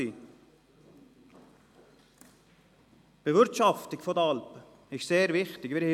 Die Bewirtschaftung der Alpen ist sehr wichtig;